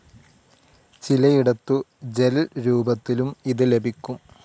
ചിലയിടത്തു gel രൂപത്തിലും ഇത് ലഭിക്കും.